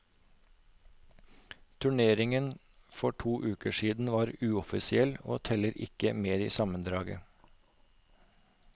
Turneringen for to uker siden var uoffisiell og teller ikke med i sammendraget.